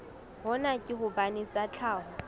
hona ke hobane tsa tlhaho